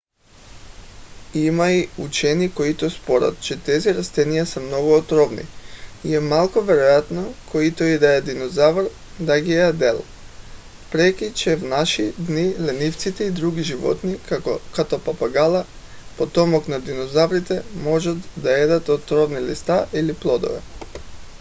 има и учени които спорят че тези растения са много отровни и е малко вероятно който и да е динозавър да ги е ядял въпреки че в наши дни ленивците и други животни като папагала потомък на динозаврите могат да ядат отровни листа или плодове